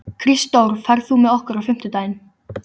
Kristdór, ferð þú með okkur á fimmtudaginn?